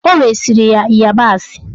Ọ resiri ya ịyabasị.